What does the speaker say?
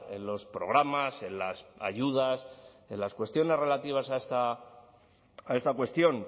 en los programas en las ayudas en las cuestiones relativas a esta cuestión